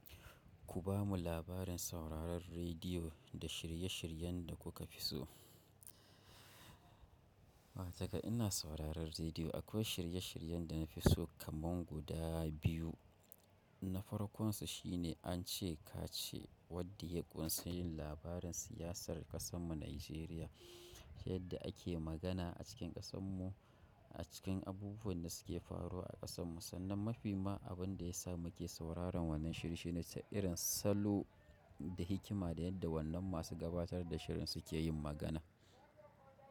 Ku bamu labarin sauraron rediyo da shirye-shiryen da kuka fi so. Daga ina sauraron rediyo akwai shirye-shiryen da na fi so kaman guda biyu. Nafar konsu shine an ce ka ce wadde ku sun yi labarin siyasar ƙasan mu Nijeriya. Yadda ake magana a cikin ƙasan mu, a cikin abubuwan da suke faruwa a ƙasan mu. Sannan mafi ma abun da ya sa muke sauraron wannan shirye-shiryen ne ta irin salo da hikima da yadda wannan masu gabatar da shirin suke yin magana.